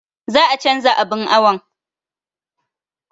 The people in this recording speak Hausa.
Za a canza abun awon